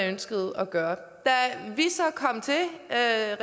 ønskede at gøre da